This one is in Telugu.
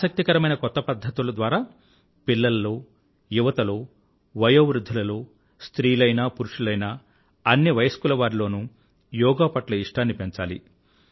ఆసక్తికరమైన కొత్త పధ్ధతుల ద్వారా పిల్లలలో యువతలో వయోవృధ్ధులలో స్త్రీలైనా పురుషులైనా అన్ని వయస్కుల వారిలోనూ యోగా పట్ల ఇష్టాన్ని పెంచాలి